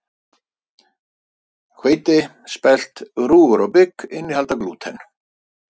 Hveiti, spelt, rúgur og bygg innihalda glúten.